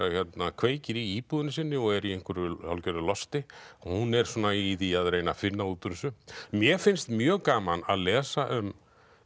kveikir í íbúðinni sinni og er í hálfgerðu losti hún er svona í því að reyna að finna út úr þessu mér finnst mjög gaman að lesa um